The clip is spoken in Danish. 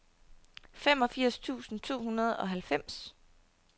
femogfirs tusind to hundrede og halvfems